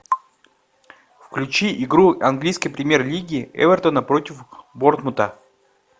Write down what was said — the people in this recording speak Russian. включи игру английской премьер лиги эвертона против борнмута